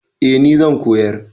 Eh ni zan koyar.